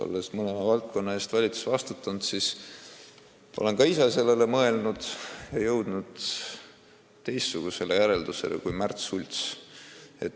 Olles mõlema valdkonna eest valitsuses vastutanud, olen ka ise sellele mõelnud, aga jõudnud teistsugusele järeldusele kui Märt Sults.